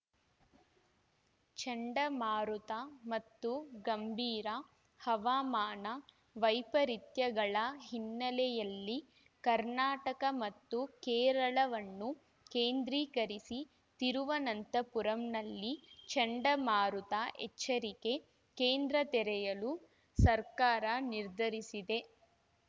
ಚಂಡಮಾರುತ ಮತ್ತು ಗಂಭೀರ ಹವಾಮಾನ ವೈಪರೀತ್ಯಗಳ ಹಿನ್ನೆಲೆಯಲ್ಲಿ ಕರ್ನಾಟಕ ಮತ್ತು ಕೇರಳವನ್ನು ಕೇಂದ್ರೀಕರಿಸಿ ತಿರುವನಂತಪುರಂನಲ್ಲಿ ಚಂಡಮಾರುತ ಎಚ್ಚರಿಕೆ ಕೇಂದ್ರ ತೆರೆಯಲು ಸರ್ಕಾರ ನಿರ್ಧರಿಸಿದೆ